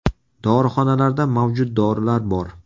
Dorixonalarda mavjud dorilar bor.